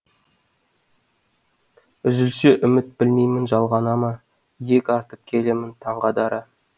үзілсе үміт білмеймін жалғана ма иек артып келемін таңға дара